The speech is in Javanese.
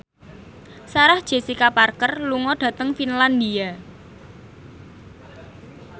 Sarah Jessica Parker lunga dhateng Finlandia